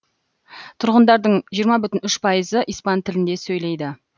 тұрғындардың жиырма бүтін үш пайызы испан тілінде сөйлейді